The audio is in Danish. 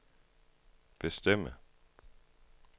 bestemme